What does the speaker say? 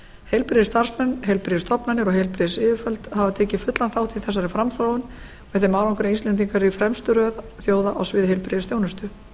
heilbrigðisstarfsmenn heilbrigðisstofnanir og heilbrigðisyfirvöld hafa tekið fullan þátt í þessari framþróun með þeim árangri að íslendingar eru í fremstu röð þjóða á sviði heilbrigðisþjónustu